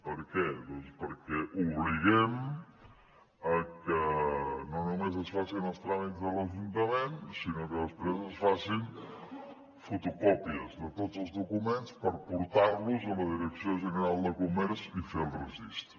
per què doncs perquè obliguem a que no només es facin els tràmits de l’ajuntament sinó que després es facin fotocòpies de tots els documents per portar los a la direcció general de comerç i fer ne el registre